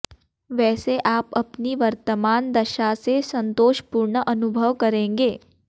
वैसे आप अपनी वर्तमान दशा से संतोषपूर्ण अनुभव करेंगे